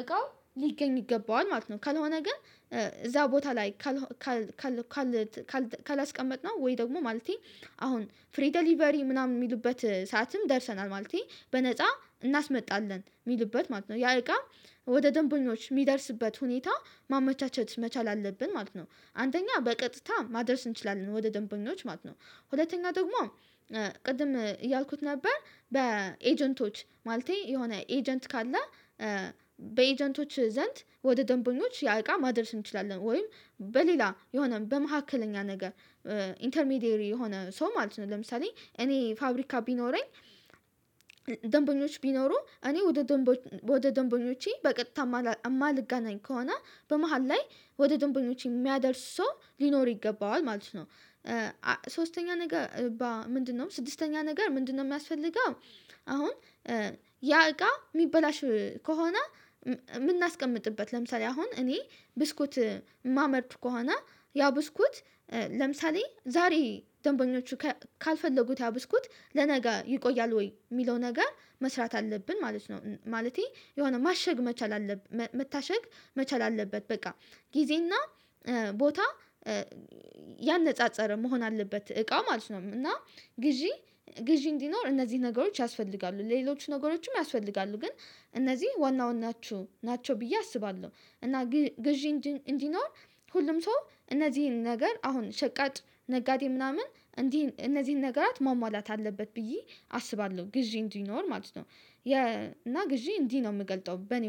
እቃው ሊገኝ ይገባዋል ማለት ነው። ካልሆነ ግን እዛ ቦታ ላይ ካልሆነ ካላስቀመጥነው ወይ ደግሞ ማለቴ አሁን ፍሪ ዴሊቨሪ ምናምን የሚሉበት ሰዓትም ደርሰናል ማለቴ በነፃ እናስመጣለን። የሚልበት ማለት ነው ያ አይቃ ወደ ደንበኞች የሚደርስበት ሁኔታ ማመቻቸት መቻል አለብን ማለት ነው። አንተኛ በቀጥታ ማደርስ እንችላለን ወደ ደንበኞች ማለት ነው ሁለተኛ ደግሞ ቅድም እያልኩት ነበር በኤጀንቶች ማለቴ የሆነ ኤጀንት ካለ በኤጀንቶች ዘንድ ወደ ደንበኞች ያ እቃ ማድረስ እንችላለን ወይም በሌላ የሆነ በመካከለኛ ነገር ኢንተርሚዲየር የሆነ ሰው ማለት ነው ለምሳሌ እኔ ፋብሪካ ቢኖረኝ ደንበኞች ቢኖሩ እኔ ወደ ደንበኞቼ በቀጥታ የማልገናኝ ከሆነ በመሃል ላይ ወደ ደንበኞቼ የሚያደርሰው ሊኖር ይገባዋል ማለት ነው። ሶስተኛ ነገር ምንድነው ስድስተኛ ነገር ምንድነው የሚያስፈልገው አሁን ያ እቃ የሚበላሽ ከሆነ የምናስቀምጥበት ለምሳሌ አሁን እኔ ብስኩት ማመርት ከሆነ ያበስኩት ለምሳሌ ዛሬ ደንበኞቹ ካልፈለጉት ያበስኩት ለነገ ይቆያል ወይ የሚለው ነገ መስራት አለብን ማለት ነው ማለቴ የሆነ ማሸግ መቻል አለብን መታሸግ መቻል አለበት በቃ ጊዜና ቦታ ያነጻጸረ መሆን አለበት እቃ ማለት ነው እና ግዢ ግዢ እንዲኖር እነዚህ ነገሮች ያስፈልጋሉ ለሌሎች ነገሮችም ያስፈልጋሉ ግን እነዚህ ዋናው ናቸው ናቸው ብዬ አስባለሁ። እና ግዢ እንዲኖር ሁሉም ሰው እነዚህን ነገር አሁን ሸቃጭ ነጋዴ ምናምን እንዲህ እነዚህን ነገራት መሟላት አለበት ብዬ አስባለሁ። ግዢ እንዲኖር ማለት ነው እና ግዢ እንዲህ ነው የምገልጠው በኔ